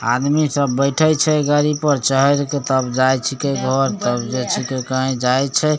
आदमी सब बैठे छै गाड़ी पर चहेर के तब जाय छीके तब कही जाय छै।